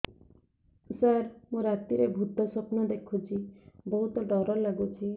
ସାର ମୁ ରାତିରେ ଭୁତ ସ୍ୱପ୍ନ ଦେଖୁଚି ବହୁତ ଡର ଲାଗୁଚି